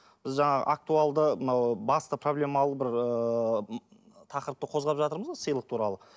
біз жаңа актуалды мынау басты проблемалы бір ыыы тақырыпты қозғап жатырмыз ғой сыйлық туралы